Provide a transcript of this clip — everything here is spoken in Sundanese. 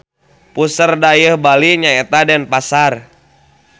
Puseur dayeuh Bali nyaeta Denpasar.